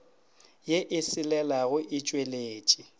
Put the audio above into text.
ye e selelago e tšweletše